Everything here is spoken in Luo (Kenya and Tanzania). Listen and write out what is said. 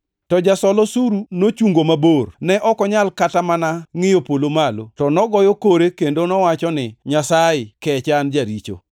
“To jasol osuru nochungo mabor. Ne ok onyal kata mana ngʼiyo polo malo, to nogoyo kore kendo nowacho ni, ‘Nyasaye, kecha, an jaricho.’